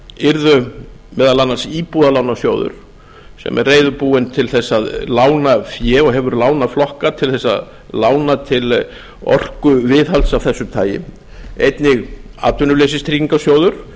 yrðu meðal annars íbúðalánasjóður sem er reiðubúinn til þess að lána fé og hefur lánað flokka til að lána til orkuviðhalds af þessu tagi einnig atvinnuleysistryggingasjóður